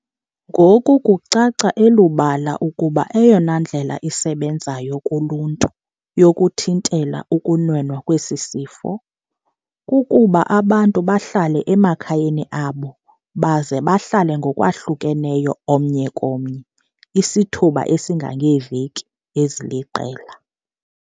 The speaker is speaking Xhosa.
Ngoku kucaca elubala ukuba eyona ndlela isebenzayo kuluntu yokuthintela ukunwenwa kwesi sifo, kukuba abantu bahlale emakhayeni abo baze bahlale ngokwahlukeneyo omnye komnye isithuba esingangeeveki eziliqela.